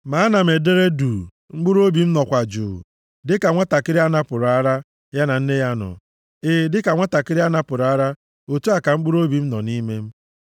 Ma ana m edere duu, mkpụrụobi m nọkwa jụụ; dịka nwantakịrị a napụrụ ara, ya na nne ya nọ, e, dịka nwantakịrị a napụrụ ara, otu a ka mkpụrụobi m nọ nʼime m.